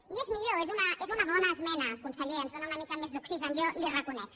i és millor és una bona esmena conseller ens dóna una mica més d’oxigen jo li ho reconec